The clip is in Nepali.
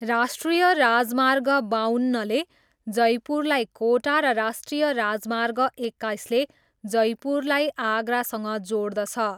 राष्ट्रिय राजमार्ग बाउन्नले जयपुरलाई कोटा र राष्ट्रिय राजमार्ग एक्काइसले जयपुरलाई आगरासँग जोड्दछ।